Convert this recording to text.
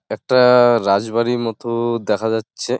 একটা-টা-টা রাজবাড়ির মতো দেখা যাচ্ছে ।